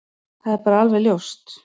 Það er bara alveg ljóst.